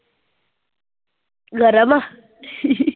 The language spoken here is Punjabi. ਗਰਮ ਆਂ